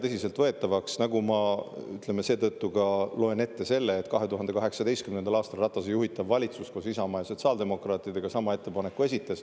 Seetõttu ma ka lugesin ette, et 2018. aastal Ratase juhitav valitsus koos Isamaa ja sotsiaaldemokraatidega esitas sama ettepaneku.